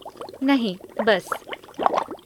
नहीं बस।